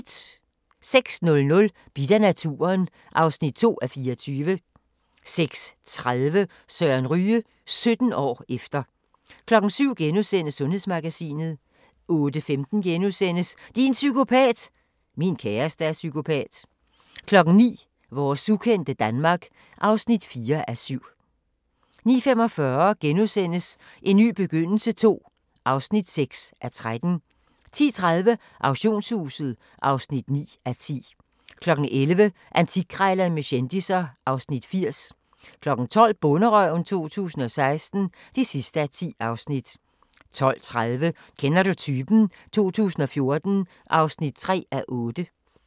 06:00: Bidt af naturen (2:24) 06:30: Søren Ryge – 17 år efter 07:00: Sundhedsmagasinet * 08:15: Din psykopat! – Min kæreste er psykopat * 09:00: Vores ukendte Danmark (4:7) 09:45: En ny begyndelse II (6:13)* 10:30: Auktionshuset (9:10) 11:00: Antikkrejlerne med kendisser (Afs. 80) 12:00: Bonderøven 2016 (10:10) 12:30: Kender du typen? 2014 (3:8)